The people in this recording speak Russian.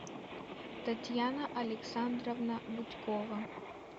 татьяна александровна бутькова